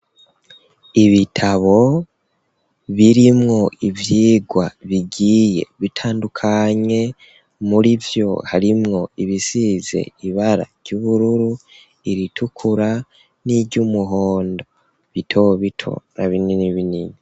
Ibitabo birimwo ivyigwa bigiye bitandukanye, murivyo harimwo ibisize ibara ry'ubururu, iritukura niry'umuhondo, bito bito na binini binini.